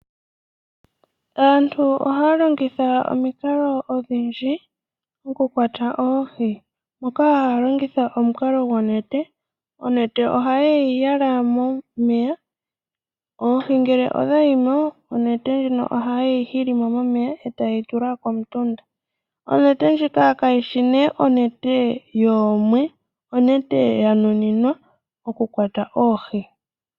Aantu oha longitha omukalo odhindji oku kwata oohi. Oha longitha omukalo gwonete. Onete ohaye yi yala momeya ,oohi ngele odha yimo ,onete ndjino ohaye hi hilimo momeya etaye yi tula komutunda. Onete ndjika kayishi ndjoka yeemwe, ashike ndjika oya nuninwa oku kwata oohi.